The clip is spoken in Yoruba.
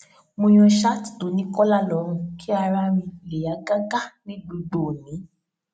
mo yan ṣáàtì tó ní kólà lórùn kí ara mi lè yá gágá ní gbogbo òní